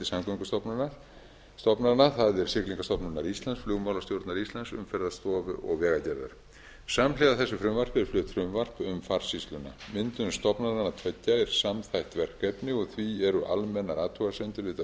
samgöngustofnana það er siglingastofnunar íslands flugmálastjórnar íslands umferðarstofu og vegagerðar samhliða þessu frumvarpi er flutt frumvarp um farsýsluna myndun stofnananna tveggja er samþætt verkefni og því eru almennar athugasemdir við þetta